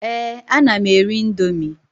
Èé, ana m eri ị̀ndómị́.